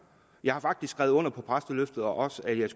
jeg har faktisk skrevet under på præsteløftet og også at jeg